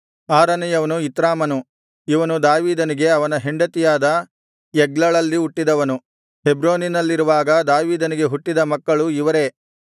ಆರನೆಯವನು ಇತ್ರಾಮನು ಇವನು ದಾವೀದನಿಗೆ ಅವನ ಹೆಂಡತಿಯಾದ ಎಗ್ಲಳಲ್ಲಿ ಹುಟ್ಟಿದವನು ಹೆಬ್ರೋನಿನಲ್ಲಿರುವಾಗ ದಾವೀದನಿಗೆ ಹುಟ್ಟಿದ ಮಕ್ಕಳು ಇವರೇ